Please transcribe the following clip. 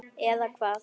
Eða hvað.